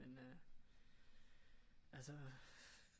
Men øh altså